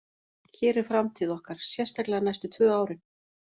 Hér er framtíð okkar, sérstaklega næstu tvö árin.